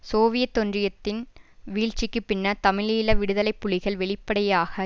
Soviet ஒன்றியத்தின் வீழ்ச்சிக்கு பின்னர் தமிழீழ விடுதலை புலிகள் வெளிப்படையாக